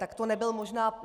Tak to nebyl možná...